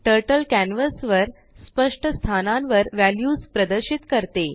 टर्टलकॅनवासवरस्पष्टस्थानांवरव्ह्याल्युसप्रदर्शित करते